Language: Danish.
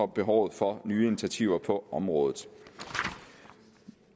behovet for nye initiativer på området